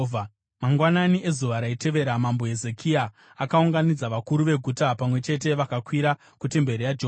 Mangwanani ezuva raitevera Mambo Hezekia akaunganidza vakuru veguta pamwe chete vakakwira kutemberi yaJehovha.